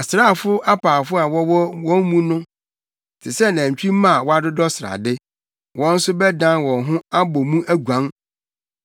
Asraafo apaafo a wɔwɔ wɔn mu no te sɛ nantwimma a wɔadodɔ srade. Wɔn nso bɛdan wɔn ho abɔ mu aguan,